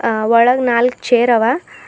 ಅ ಒಳಗ್ ನಾಲ್ಕು ಚೇರ್ ಅವ.